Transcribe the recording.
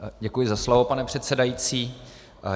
Děkuji za slovo, pane předsedající.